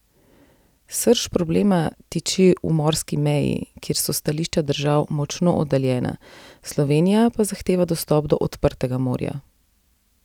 Srž problema tiči v morski meji, kjer so stališča držav močno oddaljena, Slovenija pa zahteva dostop do odprtega morja.